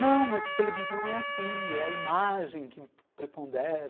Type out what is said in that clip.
Não, mas televisão é assim, é a imagem que prepondera...